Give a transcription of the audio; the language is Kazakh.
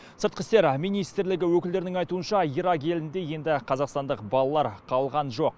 сыртқы істер министрлігі өкілдерінің айтуынша ирак елінде енді қазақстандық балалар қалған жоқ